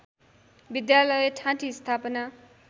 विद्यालय ठाँटी स्थापना